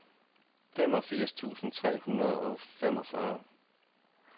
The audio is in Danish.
femogfirs tusind tre hundrede og femogfyrre